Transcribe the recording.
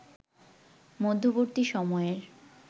মধ্যবর্তী সময়ের